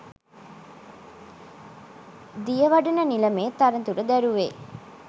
දියවඩන නිලමේ තනතුර දැරුවේ